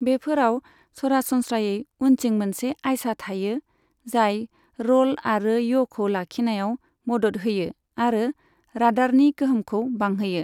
बेफोराव सरासनस्रायै उन्थिं मोनसे आयसा थायो, जाय रल आरो य'खौ लाखिनायाव मदद होयो आरो रादारनि गोहोमखौ बांहोयो।